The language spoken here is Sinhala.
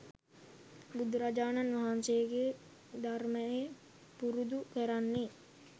බුදුරජාණන් වහන්සේගේ ධර්මයේ පුරුදු කරන්නෙ.